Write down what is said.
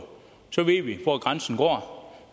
så ved vi hvor grænsen går